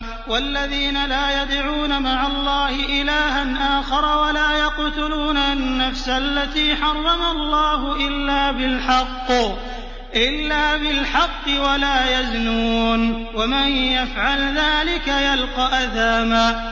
وَالَّذِينَ لَا يَدْعُونَ مَعَ اللَّهِ إِلَٰهًا آخَرَ وَلَا يَقْتُلُونَ النَّفْسَ الَّتِي حَرَّمَ اللَّهُ إِلَّا بِالْحَقِّ وَلَا يَزْنُونَ ۚ وَمَن يَفْعَلْ ذَٰلِكَ يَلْقَ أَثَامًا